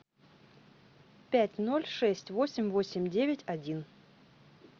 пять ноль шесть восемь восемь девять один